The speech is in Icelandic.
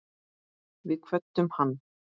Við kvöddum hann.